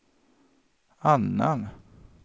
annan